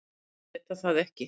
Geta það ekki.